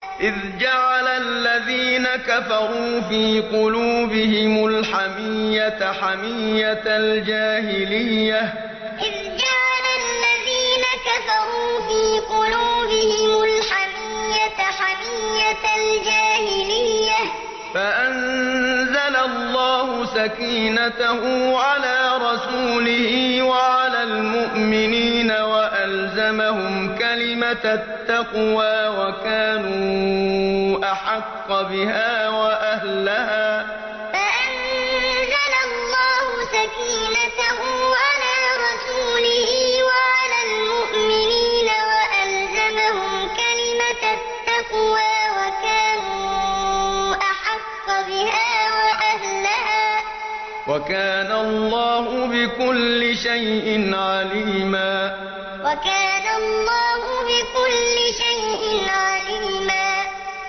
إِذْ جَعَلَ الَّذِينَ كَفَرُوا فِي قُلُوبِهِمُ الْحَمِيَّةَ حَمِيَّةَ الْجَاهِلِيَّةِ فَأَنزَلَ اللَّهُ سَكِينَتَهُ عَلَىٰ رَسُولِهِ وَعَلَى الْمُؤْمِنِينَ وَأَلْزَمَهُمْ كَلِمَةَ التَّقْوَىٰ وَكَانُوا أَحَقَّ بِهَا وَأَهْلَهَا ۚ وَكَانَ اللَّهُ بِكُلِّ شَيْءٍ عَلِيمًا إِذْ جَعَلَ الَّذِينَ كَفَرُوا فِي قُلُوبِهِمُ الْحَمِيَّةَ حَمِيَّةَ الْجَاهِلِيَّةِ فَأَنزَلَ اللَّهُ سَكِينَتَهُ عَلَىٰ رَسُولِهِ وَعَلَى الْمُؤْمِنِينَ وَأَلْزَمَهُمْ كَلِمَةَ التَّقْوَىٰ وَكَانُوا أَحَقَّ بِهَا وَأَهْلَهَا ۚ وَكَانَ اللَّهُ بِكُلِّ شَيْءٍ عَلِيمًا